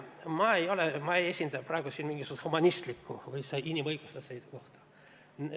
Ma ei esinda praegu siin mingisugust humanistlikku või inimõiguslikku seisukohta.